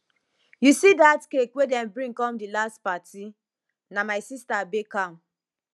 you see dat cake wey dem bring come di last party na my sister bake am